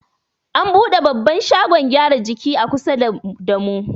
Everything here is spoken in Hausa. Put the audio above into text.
An buɗe babban shagon gyaran jiki a kusa da mu.